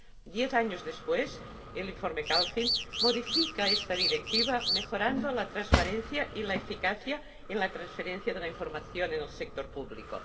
Diez años después, el informe Kalfin modifica esta Directiva, mejorando la transparencia y la eficacia en la transferencia de la información del sector público.